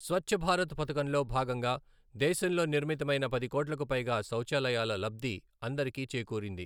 స్వచ్ఛభారత్ పథకంలో భాగంగా దేశంలో నిర్మితమైన పది కోట్లకు పైగా శౌచాలయాల లబ్ధి అందరికీ చేకూరింది.